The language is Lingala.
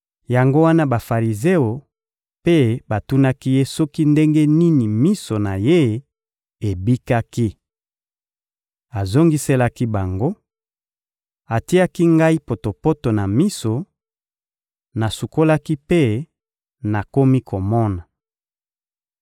Yango wana Bafarizeo mpe batunaki ye soki ndenge nini miso na ye ebikaki. Azongiselaki bango: — Atiaki ngai potopoto na miso, nasukolaki mpe nakomi komona.